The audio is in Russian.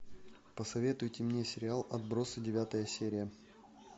посоветуйте мне сериал отбросы девятая серия